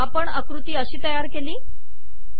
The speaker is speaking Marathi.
आपण आकृती अशी तयार केली